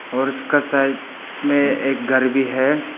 और उसका साइड में एक घर भी है।